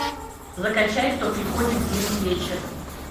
закачай кто приходит в зимний вечер